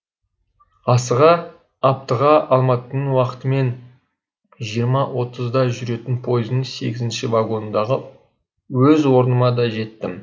асыға аптығы алматының уақытымен жиырма отыздағы жүретін пойыздың сегізінші вагоннындағы өз орныма да жеттім